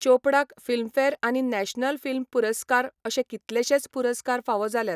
चोपडाक फिल्मफेअर आनी national film पुरस्कार अशे कितलेशेच पुरस्कार फावो जाल्यात.